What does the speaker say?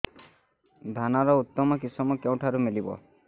ଧାନର ଉତ୍ତମ କିଶମ କେଉଁଠାରୁ ମିଳିବ